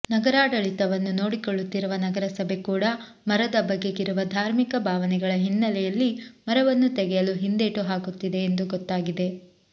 ನಗರಾಡಳಿತವನ್ನು ನೋಡಿಕೊಳ್ಳುತ್ತಿರುವ ನಗರಸಭೆ ಕೂಡ ಮರದ ಬಗೆಗಿರುವ ಧಾರ್ಮಿಕ ಭಾವನೆಗಳ ಹಿನ್ನೆಲೆಯಲ್ಲಿ ಮರವನ್ನು ತೆಗೆಯಲು ಹಿಂದೇಟು ಹಾಕುತ್ತಿದೆ ಎಂದು ಗೊತ್ತಾಗಿದೆ